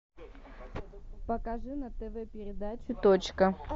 покажи на тв передачу точка